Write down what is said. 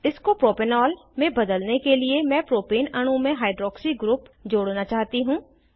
इसको प्रोपेनॉल में बदलने के लिए मैं प्रोपेन अणु में हाइड्रॉक्सी ग्रुप जोड़ना चाहती हूँ